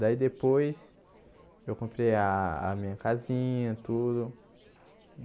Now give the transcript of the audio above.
Daí, depois, eu comprei a a minha casinha, tudo.